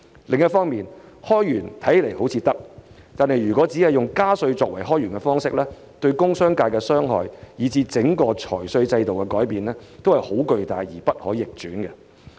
另一方面，開源看似可行，但如果只以加稅作為開源方式，對工商業界的傷害，以至整個財稅制度的改變，都是巨大而不可逆轉的。